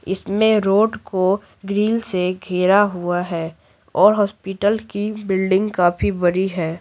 इसमें रोड को ग्रिल से घेरा हुआ है और हॉस्पिटल की बिल्डिंग काफी बड़ी हैं।